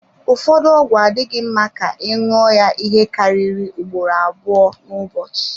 Ụfọdụ ọgwụ adịghị mma ka ị ṅụọ ya ihe karịrị ugboro abụọ n'ụbọchị.